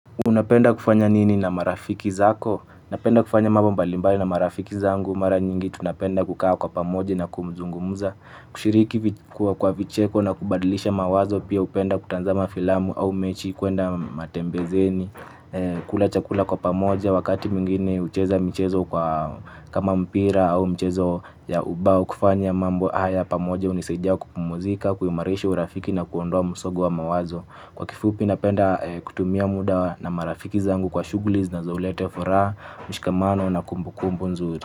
Unapenda kufanya nini na marafiki zako? Napenda kufanya mambo mbali mbali na marafiki zangu. Mara nyingi tunapenda kukaa kwa pamoja na kuzungumuza, kushiriki kwa vicheko na kubadilisha mawazo. Pia hupenda kutazama filamu au mechi, kuenda matembezini. Kula chakula kwa pamoja. Wakati mwingine hucheza michezo kwa kama mpira au mchezo ya ubao. Kufanya mambo haya pamoja hunisaidia kupumzika, kuimarisha urafiki na kuondoa msongo wa mawazo. Kwa kifupi napenda kutumia muda na marafiki zangu kwa shughuli zinazauleta furaha, mshikamano na kumbukumbu nzuri.